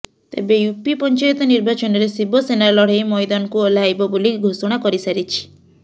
ତେବେ ୟୁପି ପଞ୍ଚାୟତ ନିର୍ବାଚନରେ ଶିବସେନା ଲଢେଇ ମଇଦାନକୁ ଓହ୍ଲାଇବ ବୋଲି ଘୋଷଣା କରିସାରିଛି